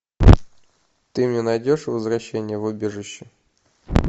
ты мне найдешь возвращение в убежище